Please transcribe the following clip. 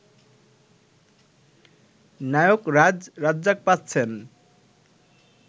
নায়করাজ রাজ্জাক পাচ্ছেন